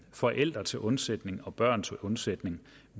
forældre til undsætning og børn til undsætning